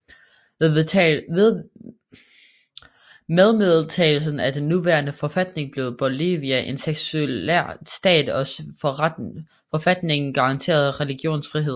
Med vedtagelsen af den nuværende forfatning blev Bolivia en sekulær stat og forfatningen garanterer religionsfrihed